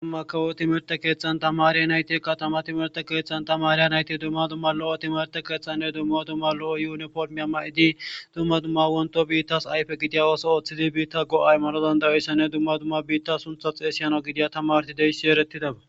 duumma kawo7o timerte keeththan tamarya nayti katama timerte keeththan tamariya nayti dumma dumma lo7o timerte keeththanne dumma dumma lo7o yuniformiya ma7idi dumma dumma wonto biittas ayfe gidiya ooso ooththidi biitta go7ay maro dandayoyssa ne dumma dumma biitta suntha xeesiyano gidiya tamarti deyssi eretidaba